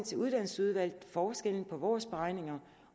til uddannelsesudvalget forskellen på vores beregninger